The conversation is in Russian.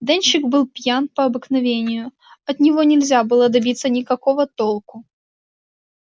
дёнщик был пьян по обыкновению от него нельзя было добиться никакого толку